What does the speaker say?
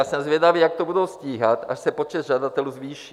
A jsem zvědavý, jak to budou stíhat, až se počet žadatelů zvýší.